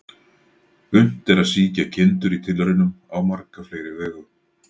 Unnt er að sýkja kindur í tilraunum á marga fleiri vegu.